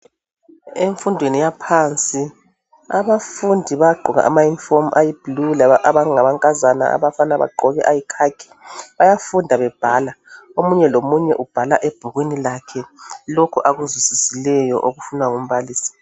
Emfundweni yaphansi, abafundi bayagqoka ama-uniform ayiblue, abanganankazana. Abafana bagqoke ayikhakhi. Bayafunda bebhala. Omunye lomunye ubhala ebhukwini lakhe lokho akuzwisisileyo. Okufunwa ngumbalisi.